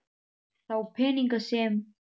Þá peninga sem